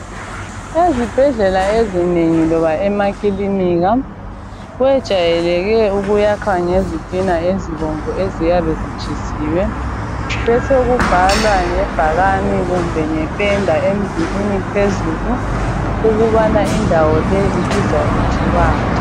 Ezibhedlela ezinengi loba emakilinika kwejayeleke ukuyakhwa ngezitina ezibomvu eziyabe zitshisiwe besekubhalwa ibhakane kumbe ngependa emdulwini phezulu ukubana indawo le ibizwa kuthiwani.